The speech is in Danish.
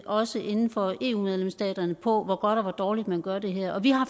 også inden for eu medlemsstaterne på hvor godt og hvor dårligt man gør det her vi har